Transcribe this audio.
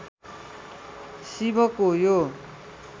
शिवको यो